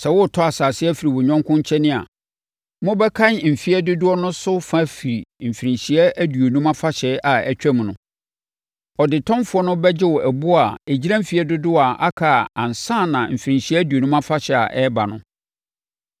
Sɛ woretɔ asase afiri wo yɔnko nkyɛn a, mobɛkan mfeɛ dodoɔ no so fa afiri Mfirinhyia Aduonum Afahyɛ a ɛtwaam no. Ɔdetɔnfoɔ no bɛgye wo boɔ a ɛgyina mfeɛ dodoɔ a aka ansa na mfirinhyia aduonum afahyɛ a ɛreba no.